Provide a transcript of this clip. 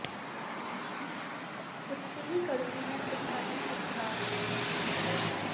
खुद से ही करूंगी मैं खुद का ही उद्धार